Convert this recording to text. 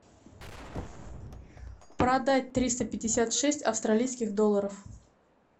продать триста пятьдесят шесть австралийских долларов